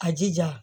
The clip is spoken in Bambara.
A jija